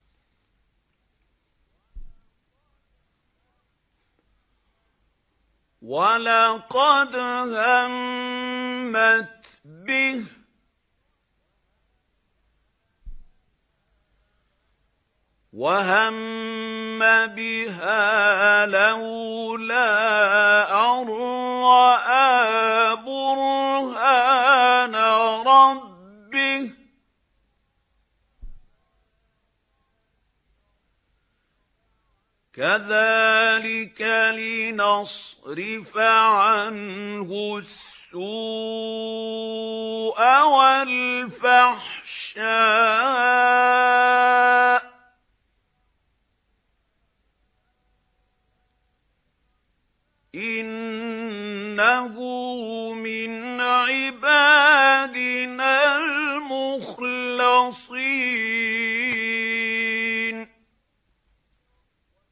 وَلَقَدْ هَمَّتْ بِهِ ۖ وَهَمَّ بِهَا لَوْلَا أَن رَّأَىٰ بُرْهَانَ رَبِّهِ ۚ كَذَٰلِكَ لِنَصْرِفَ عَنْهُ السُّوءَ وَالْفَحْشَاءَ ۚ إِنَّهُ مِنْ عِبَادِنَا الْمُخْلَصِينَ